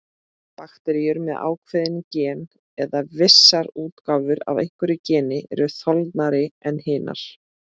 Bakteríur með ákveðin gen, eða vissar útgáfur af einhverju geni, eru þolnari en hinar.